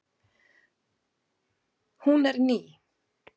Hún er ný.